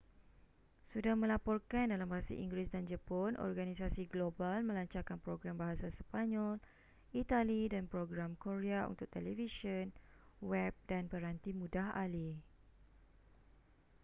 sudah melaporkan dalam bahasa inggeris dan jepun organisasi global melancarkan program bahasa sepanyol itali dan program korea untuk televisyen web dan peranti mudah alih